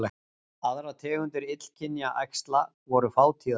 Aðrar tegundir illkynja æxla voru fátíðari